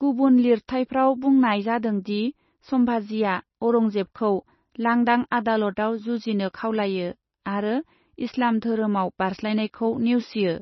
गुबुन लिरथाइफ्राव बुंनाय जादों दि सम्भाजीआ औरंजेबखौ लांदां आदालतआव जुजिनो खावलायो आरो इस्लाम धोरोमाव बारस्लायनायखौ नेवसियो।